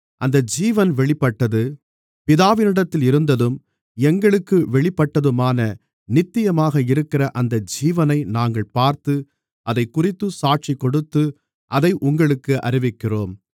அந்த ஜீவன் வெளிப்பட்டது பிதாவினிடத்தில் இருந்ததும் எங்களுக்கு வெளிப்பட்டதுமான நித்தியமாக இருக்கிற அந்த ஜீவனை நாங்கள் பார்த்து அதைக்குறித்துச் சாட்சிகொடுத்து அதை உங்களுக்கு அறிவிக்கிறோம்